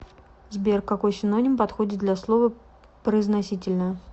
сбер какой синоним подходит для слова произносительная